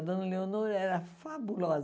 A dona Leonor era fabulosa.